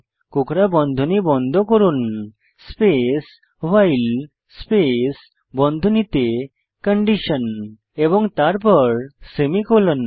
কোঁকড়া বন্ধনী বন্ধ করুন স্পেস ভাইল স্পেস বন্ধনীতে কন্ডিশন এবং তারপর সেমিকোলন